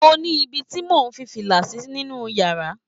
Mo ní ibí tí mò ń fi fìlà sí nínú yàrá